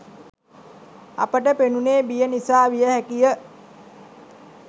අපට පෙනුනේ බිය නිසා විය හැකි ය.